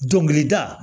Dɔnkilida